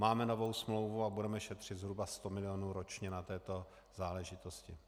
Máme novou smlouvu a budeme šetřit zhruba 100 mil. ročně na této záležitosti.